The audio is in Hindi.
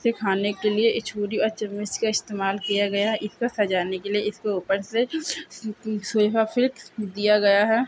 इसे खाने के लिए छुरी और चम्मच का इस्तेमाल किया गया है इसको सजाने के लिए-- इसको ऊपर से सोया फिड्स दिया गया है।